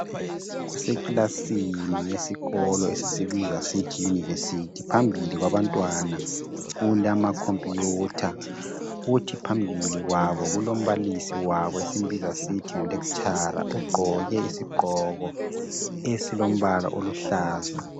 kuse kilasini esikolo esisibiza sisithi university phambili kwabantwana kulama khompuyutha kuthi phambili kwabo kulombalisi wabo esimbiza sisithi ngu lecturer ugqoke isigqoko esilombala oluhlaza